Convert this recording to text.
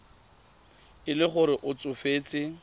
e le gore o tsofetse